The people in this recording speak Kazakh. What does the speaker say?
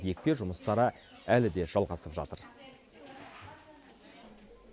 екпе жұмыстары әлі де жалғасып жатыр